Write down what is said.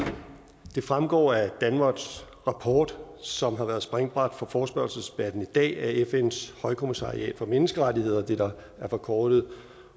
det fremgår af danwatchs rapport som har været springbræt for forespørgselsdebatten i dag at fns højkommissariat for menneskerettigheder det der er forkortet